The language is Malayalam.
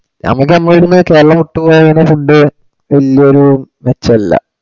നമ്മക്ക് ഞമ്മളെ ഈട്ന്ന് കേരളം വിട്ട്പോയാൽ ഉള്ള food എന്തോരു മെച്ചല്ല